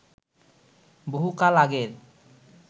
বহু কাল আগের